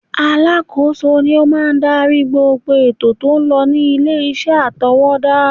Alákòóso ni ó máa ń darí gbogbo ètò tó ń lọ ní ilé iṣẹ́ atèwétà.